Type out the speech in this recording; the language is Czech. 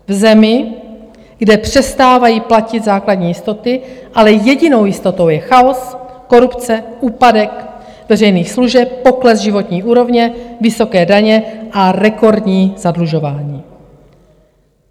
V zemi, kde přestávají platit základní jistoty, ale jedinou jistotou je chaos, korupce, úpadek veřejných služeb, pokles životní úrovně, vysoké daně a rekordní zadlužování.